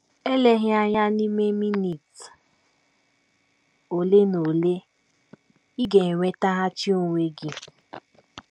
Eleghị anya, n’ime minit ole na ole, ị ga - enwetaghachi onwe gị.